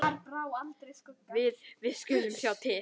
Við. við skulum sjá til.